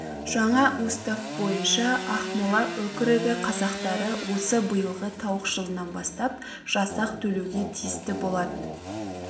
жаңа устав бойынша ақмола өкірігі қазақтары осы биылғы тауық жылынан бастап жасақ төлеуге тиісті болатын